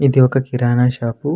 ఇది ఒక కిరాణా షాపు --